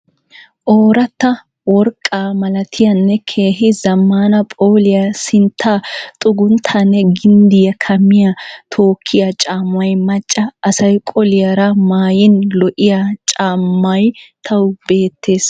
Ooratta worqqaa malatiyaanne keehi zammaana phooliya sintta xugunttaanne ginddiya kammiya tookkiya caammay macca asay qoliyaara maaayin lo"iya caammay tawu beettes.